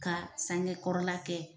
Ka sangekɔrɔla kɛ